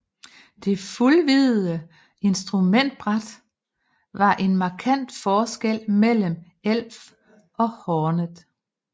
Det fuldvidde instrumentbræt var en markant forskel mellem Elf og Hornet